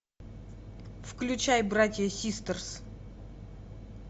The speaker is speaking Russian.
включай братья систерс